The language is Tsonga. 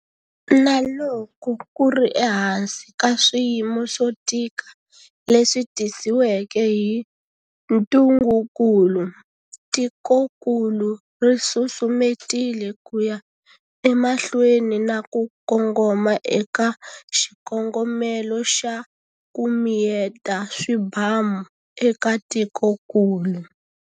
Na loko ku ri ehansi ka swiyimo swo tika leswi tisiweke hi ntungukulu, tikokulu ri susumetile ku ya emahlweni na ku kongoma eka xikongomelo xa ku, miyeta swibamueka tikokulu.